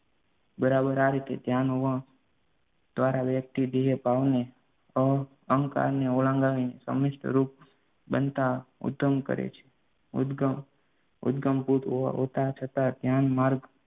બરાબર આ રીતે ધ્યાનમાં દ્વારા વ્યક્તિ દેહભાવને અહંકારને ઓળંગાવીને સમસ્ત રૂપ બનતા ઉત્તમ કરે છે. ઉદ્દગમ ઉદ્દગમ કૃત હોતા છતાં ધ્યાન માર્ગ